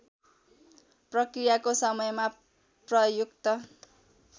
प्रक्रियाको समयमा प्रयुक्त